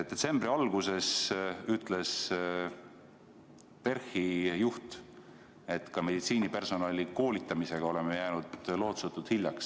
Detsembri alguses ütles PERH-i juht, et ka meditsiinipersonali koolitamisega oleme jäänud lootusetult hiljaks.